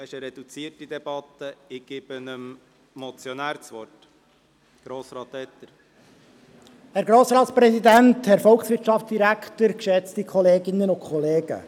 Wir führen eine reduzierte Debatte, und ich gebe dem Motionär das Wort.